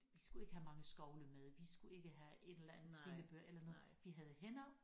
Vi skulle ikke have mange skovle med vi skulle ikke have en eller anden trillebør eller noget vi havde hænder